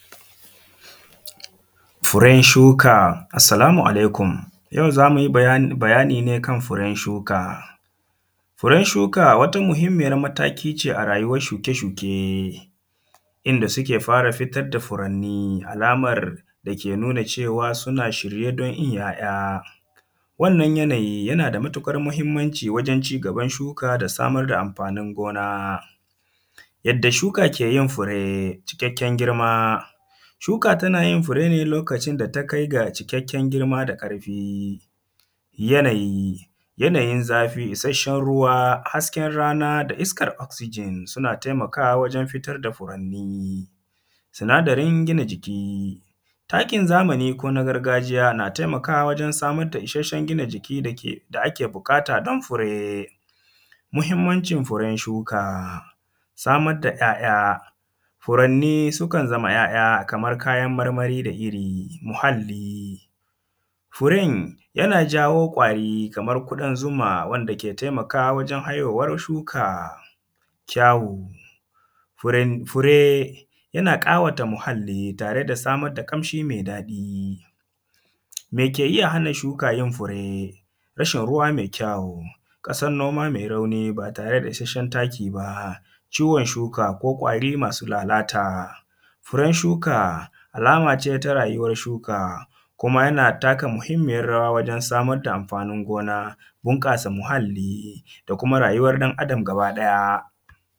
Furen shuka! Assalamu alaikum, yau za mu yi baya; bayani ne kan furen shuka Furen shuka wata muhimmiyar mataki ce a rayuwar shuke-shukee inda suke, inda suke fara futar da furannii alamar da ke nuna cewa suna shirye don yin ‘ya’ya Wannan yanayi, yana da matuƙar mahimmanci wajen cigaban shuka da samar da amfanin gona Yadda shuka ke yin fure, cikakken girma, shuka tana yin fure ne lokacin da ta kai ga cikakken girma da ƙarfi Yanayi, yanayin zafi, isasshen ruwa, hasken rana da iskar “Oxygen” suna taimakawa wajen fitar da furanni Sinadarin gina jiki, takin zamani ko na gargajiya, na taimakawa wajen samar da isashen gina jiki dake; da ake buƙata don fure Muhimmancin furen shuka, samar da ‘ya’ya, furanni sukan zama ‘ya’ya kamar kayan marmari da iri muhalli. Furen yana jawo ƙwari, kamar ƙudan zuma wanda ke taimakawa wajen hayowar shuka Kyawu, furan, fure yana ƙawata muhalli tare da samar da ƙamshi me daɗi Me ke iya hana shuka yin fure? Rashin ruwa me kyau, ƙasar noma mai rauni ba tare da isasshen taki ba, ciwon shuka ko ƙwari masu lalata furen shuka alama ce ta rayuwar shuka, kuma yana taka muhimmiyar rawa wajen samar da amfanin gona, bunƙasa muhalli da kuma rayuwar ɗan Adam gabaɗaya.